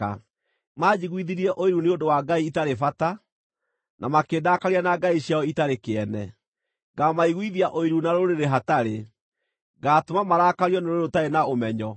Manjiguithirie ũiru nĩ ũndũ wa ngai itarĩ bata, na makĩndakaria na ngai ciao itarĩ kĩene. Ngaamaiguithia ũiru na rũrĩrĩ hatarĩ; ngaatũma marakario nĩ rũrĩrĩ rũtarĩ na ũmenyo.